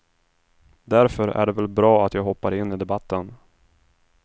Därför är det väl bra att jag hoppar in i debatten.